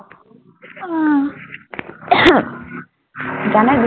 আহ জানই